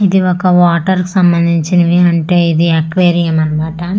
ఇది ఒక వాటర్ సంబంధించినవి అంటే ఇది అక్వేరియం అనమాట.